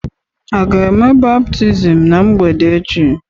A ga-eme baptizim ná mgbede echi?